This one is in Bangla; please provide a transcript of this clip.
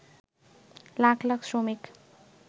লাখ লাখ শ্রমিক